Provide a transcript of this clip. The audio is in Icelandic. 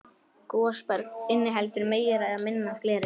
Gosberg inniheldur meira eða minna af gleri.